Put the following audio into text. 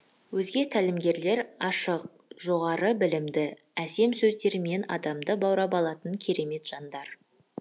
өзге тәлімгерлер ашық жоғары білімді әсем сөздерімен адамды баурап алатын керемет жандар